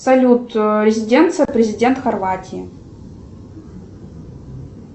салют резиденция президента хорватии